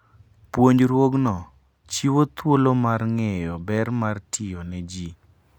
Puonjruogno chiwo thuolo mar ng'eyo ber mar tiyo ne ji.